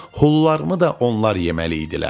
Hulularımı da onlar yeməli idilər.